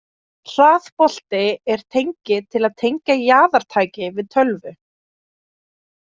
Hraðbolti er tengi til að tengja jaðartæki við tölvu.